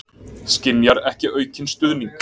Skynjar ekki aukinn stuðning